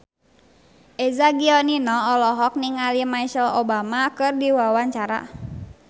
Eza Gionino olohok ningali Michelle Obama keur diwawancara